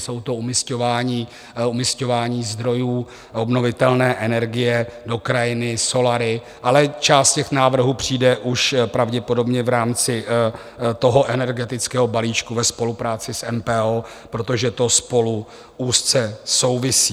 Je to umisťování zdrojů obnovitelné energie do krajiny, soláry, ale část těch návrhů přijde už pravděpodobně v rámci toho energetického balíčku ve spolupráci s MPO, protože to spolu úzce souvisí.